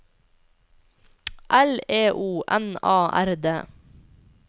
L E O N A R D